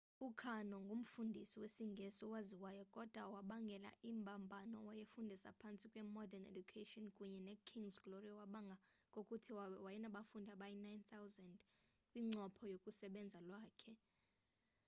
ukarno ngumfundisi wesingesi owaziwayo kodwa owabangela imbambano owayefundisa phantsi kwe-modern education kunye ne-king's glory owabanga ngokuthi wayenabafundi abayi-9,000 kwincopho yokusebenza kwakhe